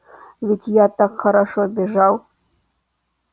ведь я так хорошо бежал